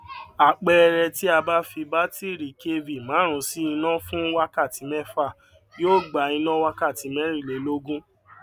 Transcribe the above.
àpẹẹrẹ ti a bá fi batiri kv márùn sí iná fún wákàtí mẹfa yóò gbà iná wakati merinlelogun